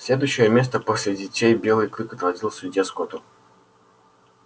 следующее место после детей белый клык отводил судье скотту